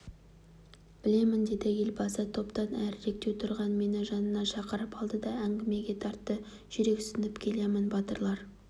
білемін деді елбасы топтан әріректеу тұрған мені жанына шақырып алды да әңгімеге тартты жүрексініп келемін батырлар